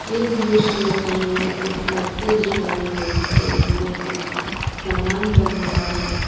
इस दृश्य में हमें कुछ मटके दिख रहे हैं जिसके नीचे कुछ सामान बन रहा है।